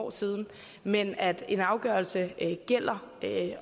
år siden men at en afgørelse gælder